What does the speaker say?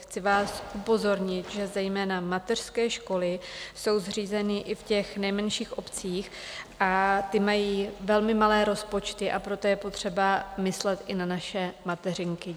Chci vás upozornit, že zejména mateřské školy jsou zřízeny i v těch nejmenších obcích, a ty mají velmi malé rozpočty, a proto je potřeba myslet i na naše mateřinky.